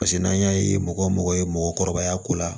Paseke n'an y'a ye mɔgɔ mɔgɔ ye mɔgɔkɔrɔbaya ko la